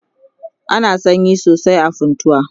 ana sanyi sosai a funtua